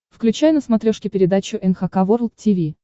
включай на смотрешке передачу эн эйч кей волд ти ви